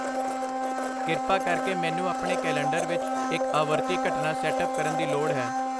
ਕਿਰਪਾ ਕਰਕੇ ਮੈਨੂੰ ਆਪਣੇ ਕੈਲੰਡਰ ਵਿੱਚ ਇੱਕ ਆਵਰਤੀ ਘਟਨਾ ਸੈਟ ਅਪ ਕਰਨ ਦੀ ਲੋੜ ਹੈ